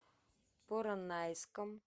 поронайском